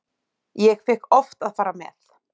Ég fékk oft að fara með.